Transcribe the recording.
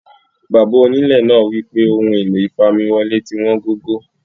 Bàbá onílẹ̀ náà wípé Ọ̀hun ẹ̀lọ̀ ìfàmiwọlé̀ tí wọn gògó.